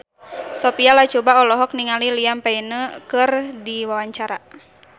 Sophia Latjuba olohok ningali Liam Payne keur diwawancara